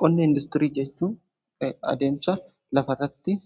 Qonna indaastirii jechuun adeemsa lafarratti